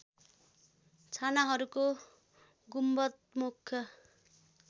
छानाहरूको गुम्बद मुख्य